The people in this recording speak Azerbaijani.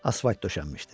Asfalt döşənmişdi.